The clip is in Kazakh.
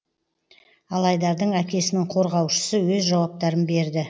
ал айдардың әкесінің қорғаушысы өз жауаптарын берді